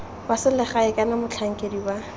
wa selegae kana motlhankedi wa